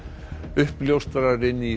uppljóstrarinn í